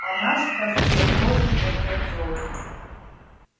а наш проспект тоже под ганзой